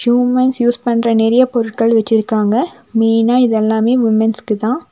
Humans use பண்ற நெறிய பொருட்கள் வச்சிருக்காங்க மெயினா இது எல்லாமே வுமென்ஸ்க்கு தான்.